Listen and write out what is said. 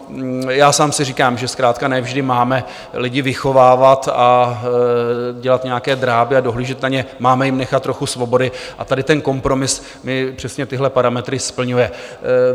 Já sám si říkám, že zkrátka ne vždy máme lidi vychovávat, dělat nějaké dráby a dohlížet na ně, máme jim nechat trochu svobody, a tady ten kompromis mi přesně tyhle parametry splňuje.